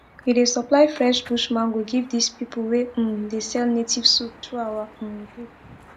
we dey supply fresh bush mango give dis pipu wey um dey sell native soup through our um group